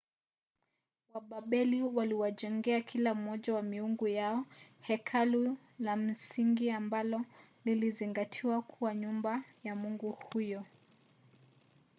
wababeli waliwajengea kila mmoja wa miungu yao hekalu la msingi ambalo lilizingatiwa kuwa nyumba ya mungu huyo